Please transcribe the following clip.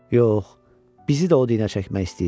Yox, bizi də o dinə çəkmək istəyir.